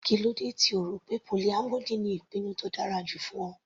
Kílódé tí O rọ̀ pé polyamory ni ìpinnu tó dára jù fún Ọ.